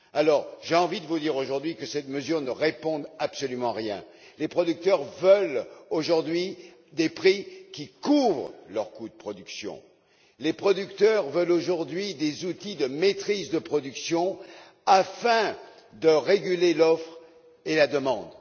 Par conséquent, j'ai envie de vous dire aujourd'hui que cette mesure ne répond absolument à rien. Les producteurs veulent aujourd'hui des prix qui couvrent leurs coûts de production. Les producteurs veulent aujourd'hui des outils de maîtrise de production afin de réguler l'offre et la demande.